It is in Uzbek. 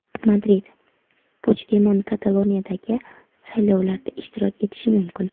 Madrid: Puchdemon Kataloniyadagi saylovlarda ishtirok etishi mumkin.